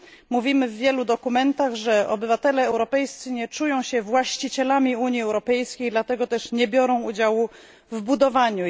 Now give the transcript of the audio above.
Mówimy w wielu dokumentach, że obywatele europejscy nie czują się właścicielami Unii Europejskiej, dlatego też nie biorą udziału w jej budowaniu.